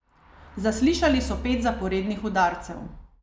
Zaslišali so pet zaporednih udarcev.